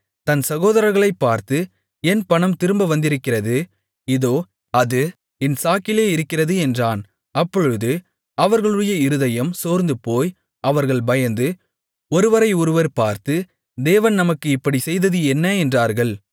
தன் சகோதரர்களைப் பார்த்து என் பணம் திரும்ப வந்திருக்கிறது இதோ அது என் சாக்கிலே இருக்கிறது என்றான் அப்பொழுது அவர்களுடைய இருதயம் சோர்ந்துபோய் அவர்கள் பயந்து ஒருவரை ஒருவர் பார்த்து தேவன் நமக்கு இப்படிச் செய்தது என்ன என்றார்கள்